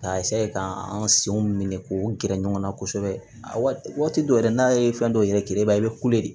K'a ka an senw minɛ k'o gɛrɛ ɲɔgɔn na kosɛbɛ a waati dɔw yɛrɛ n'a ye fɛn dɔ yira i b'a ye i bɛ de